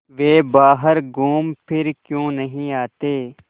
वे बाहर घूमफिर क्यों नहीं आते